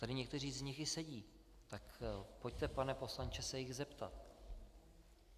Tady někteří z nich i sedí, tak pojďte, pane poslanče, se jich zeptat.